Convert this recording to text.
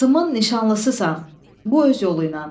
Qızımın nişanlısısan, bu öz yolu ilə.